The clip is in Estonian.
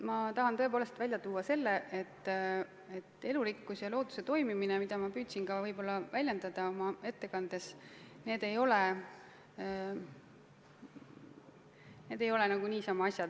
Ma tahan tõepoolest välja tuua selle, et elurikkus ja looduse toimimine, mida ma püüdsin ka väljendada oma ettekandes, ei ole nagu niisama asjad.